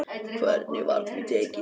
Hvernig var því tekið?